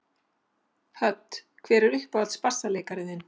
Hödd: Hver er uppáhalds bassaleikarinn þinn?